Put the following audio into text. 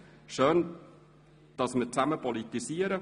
Schön, dass wir gemeinsam politisieren.